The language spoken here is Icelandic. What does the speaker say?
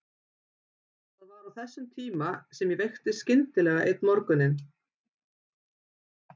Það var á þessum tíma sem ég veiktist skyndilega einn morguninn.